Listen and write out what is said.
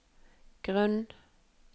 grunn